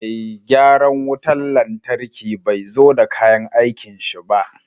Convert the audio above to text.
Mai gyaran wutan lantarkin bai zo da kayan aikin shi ba.